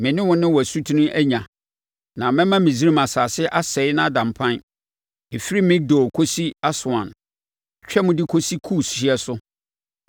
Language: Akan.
me ne wo ne wo asutene anya, na mɛma Misraim asase asɛe na ada mpan, ɛfiri Migdol kɔsi Aswan twam de kɔka Kus hyeɛ so.